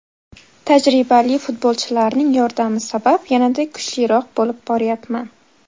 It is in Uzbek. Tajribali futbolchilarning yordami sabab yanada kuchliroq bo‘lib boryapman.